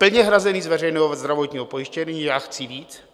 Plně hrazeny z veřejného zdravotního pojištění - já chci víc.